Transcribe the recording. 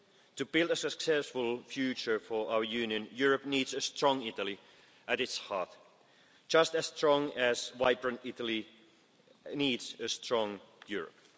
To build a successful future for our Union, Europe needs a strong Italy at its heart, just as strong as vibrant Italy needs a strong Europe.